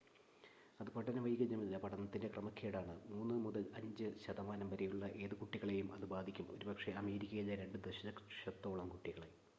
"അത് പഠന വൈകല്യമല്ല പഠനത്തിന്റെ ക്രമക്കേടാണ്; 3 മുതൽ 5 ശതമാനം വരെയുള്ള ഏത് കുട്ടികളെയും അത് ബാധിക്കും ഒരുപക്ഷേ അമേരിക്കയിലെ 2 ദശലക്ഷത്തോളം കുട്ടികളെ"".